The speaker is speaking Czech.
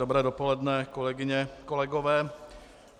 Dobré dopoledne kolegyně, kolegové.